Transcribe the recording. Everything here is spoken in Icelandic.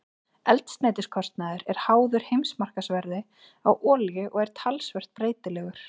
Eldsneytiskostnaður er háður heimsmarkaðsverði á olíu og er talsvert breytilegur.